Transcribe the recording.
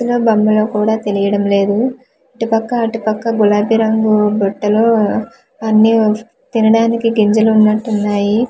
ఇల్లో బంగ్లా కుడా తేలియడం లేదు ఇటు పక్కా అటు పక్కా గులాబీ రంగు బట్టలు ఆ అన్నీ తినడానికి గింజలు ఉన్నట్టున్నాయి.